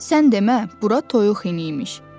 Sən demə, bura toyuq hini imiş.